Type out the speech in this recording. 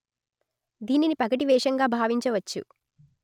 దీనిని పగటి వేషంగా భావించ వచ్చు